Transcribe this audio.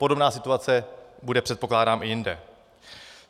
Podobná situace bude, předpokládám, i jinde.